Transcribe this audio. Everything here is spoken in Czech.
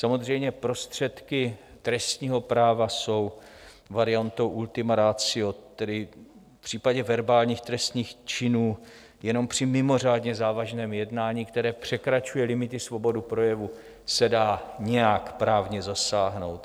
Samozřejmě, prostředky trestního práva jsou variantou ultima ratio, tedy v případě verbálních trestných činů jenom při mimořádně závažném jednání, které překračuje limity svobody projevu, se dá nějak právně zasáhnout.